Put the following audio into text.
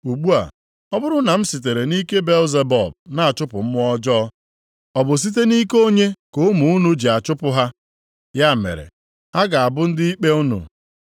Ugbu a, ọ bụrụ na m sitere nʼike Belzebub na-achụpụ mmụọ ọjọọ, ọ bụ site nʼike onye ka ụmụ unu ji na-achụpụ ha? Ya mere, ha ga-abụ ndị ikpe unu.